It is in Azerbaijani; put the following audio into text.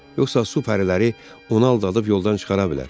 Yoxsa su pəriləri onu aldadıb yoldan çıxara bilər.